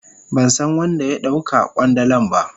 Ban san wan da ya dau ka kwandalan ba.